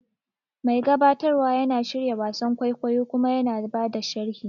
Mai gabatarwa yana shirya wasan kwaikwayo kuma yana ba da sharhi.